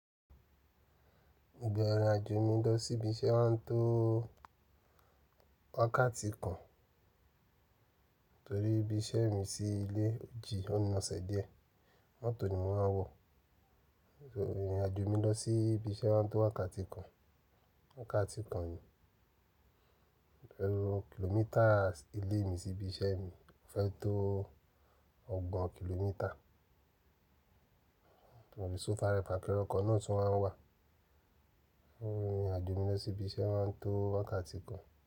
Gbogbo èròjà mi lọ síbi iṣẹ́ máa ń tó wákàtí kan torí ibi iṣẹ́ mi sí ilé òjì ọ́nà ọ̀sẹ̀ díẹ̀. Mọ́tò ni mo máa ń wọ̀. Ìrìnàjò mi lọ sí ibi iṣẹ́ máa ń tó wákàtí kan, wákàtí kan yìí. Ẹ̀rọ kìlómítà ilé mi sí ibi iṣẹ́ mi fẹ́ tó ọgbọ̀n kìlómítà. Òòrùn ìṣòfàrẹ́ pàkírọ̀ kan náà tún máa ń wà. Ìrìnàjò mi lọ sí ibi iṣẹ́ máa ń tó wákàtí kan.